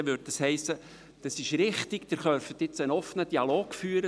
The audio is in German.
Das hiesse: Das ist richtig, Sie können einen offenen Dialog führen;